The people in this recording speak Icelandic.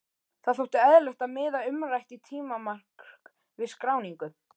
Það þótti eðlilegt að miða umrætt tímamark við skráningu.